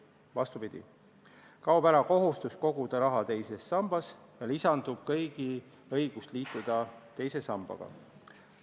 Vastupidi, kaob ära kohustus koguda raha teise sambasse ja lisandub kõigi õigus liituda teise sambaga.